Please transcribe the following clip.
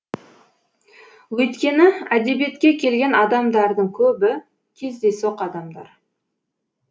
өйткені әдебиетке келген адамдардың көбі кездейсоқ адамдар